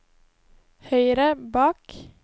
høyre bak